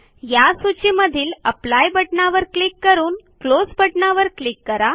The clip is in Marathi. या सूचीमधील एप्ली बटणावर क्लिक करून क्लोज या बटणावर क्लिक करा